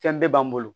Fɛn bɛɛ b'an bolo